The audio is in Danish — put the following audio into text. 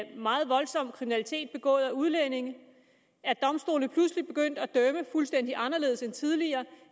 meget voldsom kriminalitet begået af udlændinge er domstolene pludselig begyndt at dømme fuldstændig anderledes end tidligere